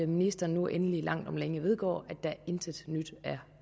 ministeren nu endelig langt om længe vedgår at der intet nyt er